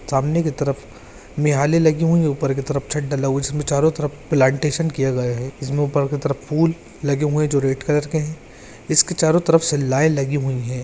सामने कि तरफ़ लगी हुई है ऊपर की तरफ़ छत डला हुआ है उसमे चारों तरफ़ प्लैंटेशन किया गया है। इसमे ऊपर की तरफ़ फूल लगे हुए है जो रेड कलर के है इसके चारों तरफ़ शिलाए लगी हुई है।